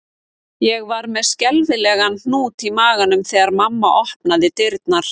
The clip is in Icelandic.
Ég var með skelfilegan hnút í maganum þegar mamma opnaði dyrnar